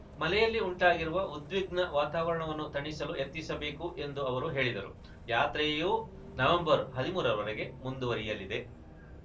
ಮಲೆಯಲ್ಲಿ ಉಂಟಾಗಿರುವ ಉದ್ವಿಗ್ನ ವಾತಾವರಣವನ್ನು ತಣಿಸಲು ಯತ್ನಿಸಬೇಕು ಎಂದು ಅವರು ಹೇಳಿದರು ಯಾತ್ರೆಯು ನವೆಂಬರ್‌ ಹದಿಮೂರರವರೆಗೆ ಮುಂದುವರಿಯಲಿದೆ